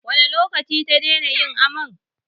Wane lokaci ta daina yin amai?